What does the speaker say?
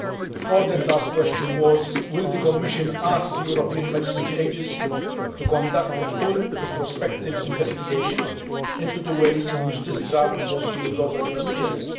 The fourth and last question was will the Commission ask the European Medicines Agency to conduct a full retrospective investigation into the ways in which this drug was used over 20 years?